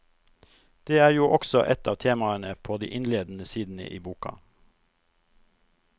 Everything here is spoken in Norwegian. Det er jo også et av temaene på de innledende sidene i boka.